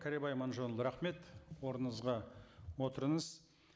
кәрібай аманжолұлы рахмет орныңызға отырыңыз